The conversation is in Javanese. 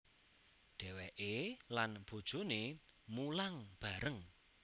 Dheweke lan bojoné mulang bareng